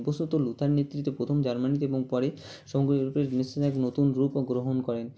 Luther নেতৃত্বে প্রথম জার্মানিতে এবং পরে সম্ভবত~ এক নতুন রূপ ও গ্ৰহন করেন